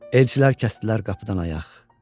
Elçilər kəsdilər qapıdan ayaq.